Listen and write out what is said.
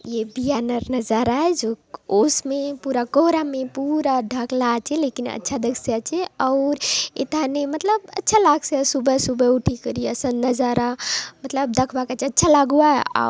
ये भियांनर नज़ारा आय जो ओस मे पूरा कोहरा मे पूरा ढाक्ला आछे लेकिन अच्छा दखसि आचे आउर एथाने मतलब अच्छा लागसी आचे सुबह सुबह उठी करी असन नज़ारा मतलब दखबा काजे अच्छा लागुआय।